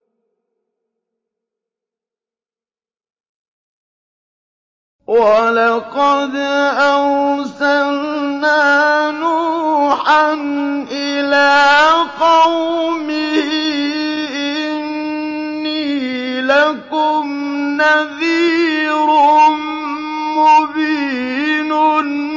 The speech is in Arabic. وَلَقَدْ أَرْسَلْنَا نُوحًا إِلَىٰ قَوْمِهِ إِنِّي لَكُمْ نَذِيرٌ مُّبِينٌ